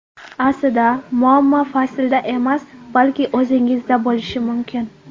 Aslida, muammo faslda emas, balki o‘zingizda bo‘lishi mumkin.